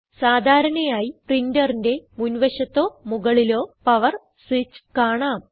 സാധാരണയായി പ്രിന്ററിന്റെ മുൻവശത്തോ മുകളിലോ പവർ സ്വിച്ച് കാണാം